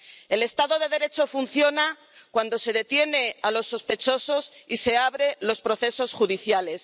El Estado de Derecho funciona cuando se detiene a los sospechosos y se abren los procesos judiciales.